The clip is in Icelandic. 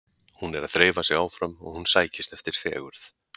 Hún er að þreifa sig áfram og hún sækist eftir fegurð.